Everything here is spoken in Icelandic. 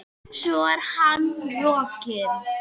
Svo er hann rokinn.